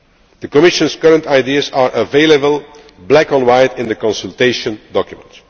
alternative. The Commission's current ideas are available, black on white, in the consultation